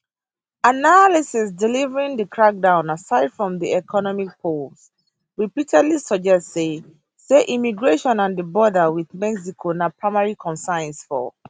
analysis delivering di crackdown aside from di economy polls repeatedly suggest say say immigration and di border wit mexico na primary concerns for many voters